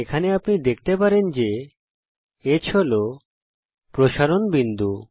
এখানে আপনি দেখতে পারেন যে H হল প্রসারণ বিন্দু